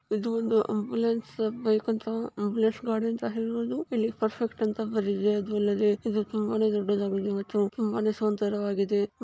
ಇದು ಒಂದು ambulance ambulance ಗಾಡಿ ಅಂತ ಹೇಳಬಹುವುದು ತುಂಬಾನೇ ದೊಡ್ಡ್ ದಾಗಿದೆ ಮತ್ತು ತುಂಬಾನೇ ಸುಂದರವಾಗಿದೆ.